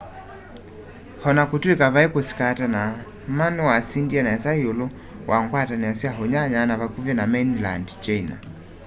ona kutw'ika vai kusikatana ma niwasindie nesa iulu wa ngwatanio sya unyanya wa vakuvi na mainland china